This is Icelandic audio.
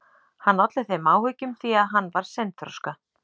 Hann olli þeim áhyggjum því að hann var seinþroska.